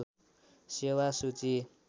सेेवा सूची